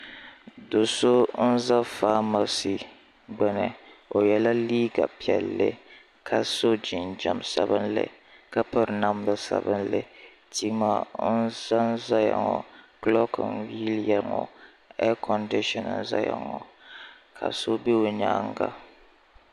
do so n za ƒamasi gbani o yɛla liga piɛli ka so jinjam sabinli ka pɛri namida sabinli tuma n zan zaya ŋɔ kuluki n.yiliya ŋɔ ei konsisi n zaya ŋɔ ka so bɛ o nyɛŋa